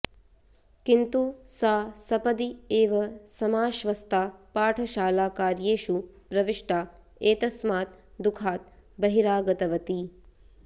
किन्तु सा सपदि एव समाश्वस्ता पाठशालाकार्येषु प्रविष्टा एतस्मात् दुःखात् बहिरागतवती